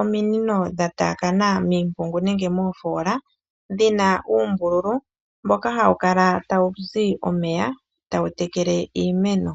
ominino dha taakana miimpungu nenge moofola dhina uumbululu mboka hawu kala ta wu zi omeya, ta wu teke le iimeno.